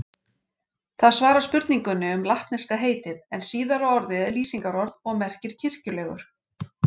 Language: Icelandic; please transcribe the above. Það svarar spurningunni um latneska heitið en síðara orðið er lýsingarorð og merkir kirkjulegur.